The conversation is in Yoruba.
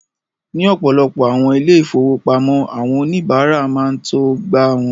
Ní ọ̀pọ̀lọpọ̀ awọn ilẹ-ifowopamọ, awọn onibàrà ma ṅ to gbà ọwọ̀.